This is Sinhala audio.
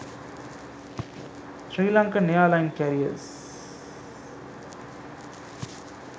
sri lankan airline careers